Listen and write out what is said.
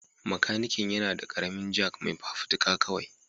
Makanikin yana da ƙaramin Jack mai fafutuka kawai